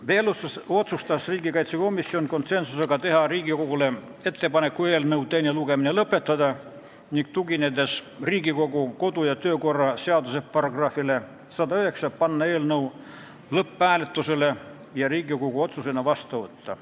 Veel otsustas komisjon konsensusega teha ettepaneku eelnõu teine lugemine lõpetada ning tuginedes Riigikogu kodu- ja töökorra seaduse §-le 109, panna eelnõu lõpphääletusele ja Riigikogu otsusena vastu võtta.